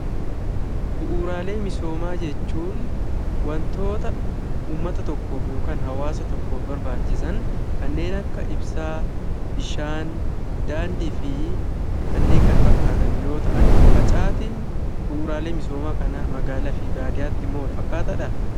Bu'uuraalee misoomaa jechuun waantota uummataa tokkof yookaan hawaasa tokkof barbachisaan kannen akka ibsaa, bishaan, dandii fi kannen kana faakkataan yoo ta'aan, facaattin bu'uuralee misoomaa kana magaalaa fi badiyaatti immoo wal fakkatadha?